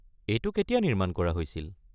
এইটো কেতিয়া নিৰ্মাণ কৰা হৈছিল?